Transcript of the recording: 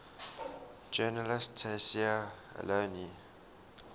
journalist tayseer allouni